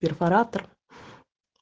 перфоратор